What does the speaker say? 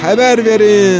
Xəbər verin!